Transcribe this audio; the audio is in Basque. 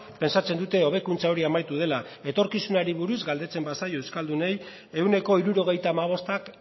pentsatzen dute hobekuntza hori amaitu dela etorkizunari buruz galdetzen bazaio euskaldunei ehuneko hirurogeita hamabostak